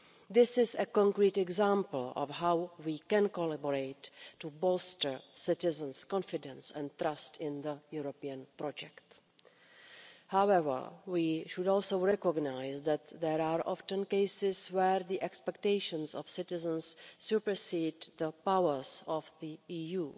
This is a concrete example of how we can collaborate to bolster citizens' confidence and trust in the European project. However, we should also recognise that there are often cases where the expectations of citizens supersede the powers of the EU.